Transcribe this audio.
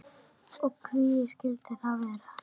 Og hví skildi það vera?